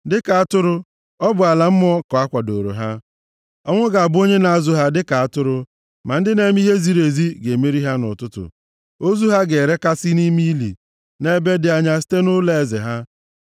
Dịka atụrụ, ọ bụ ala mmụọ ka a kwadooro ha, ọnwụ ga-abụ onye na-azụ ha dịka atụrụ, ma ndị na-eme ihe ziri ezi ga-emeri ha nʼụtụtụ. Ozu ha ga-erekasị nʼime ili nʼebe dị anya site nʼụlọeze ha.